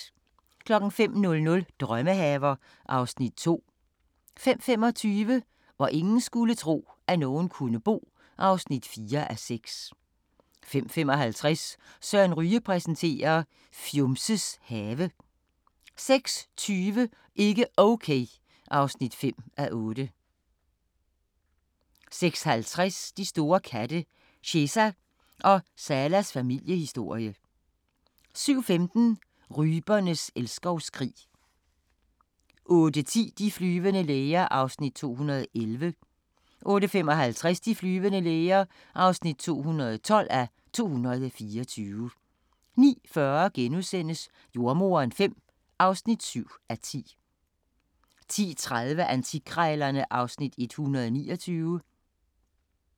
05:00: Drømmehaver (Afs. 2) 05:25: Hvor ingen skulle tro, at nogen kunne bo (4:6) 05:55: Søren Ryge præsenterer: Fjumses have 06:20: Ikke Okay (5:8) 06:50: De store katte – Cheza og Salas familiehistorie 07:15: Rypernes elskovskrig 08:10: De flyvende læger (211:224) 08:55: De flyvende læger (212:224) 09:40: Jordemoderen V (7:10)* 10:30: Antikkrejlerne (Afs. 129)